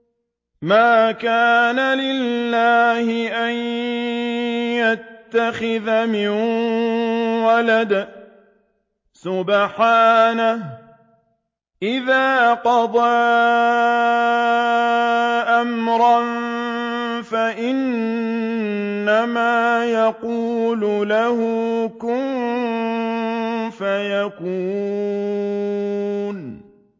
مَا كَانَ لِلَّهِ أَن يَتَّخِذَ مِن وَلَدٍ ۖ سُبْحَانَهُ ۚ إِذَا قَضَىٰ أَمْرًا فَإِنَّمَا يَقُولُ لَهُ كُن فَيَكُونُ